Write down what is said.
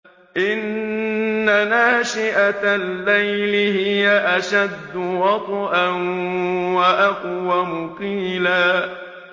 إِنَّ نَاشِئَةَ اللَّيْلِ هِيَ أَشَدُّ وَطْئًا وَأَقْوَمُ قِيلًا